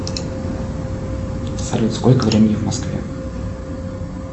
салют сколько времени в москве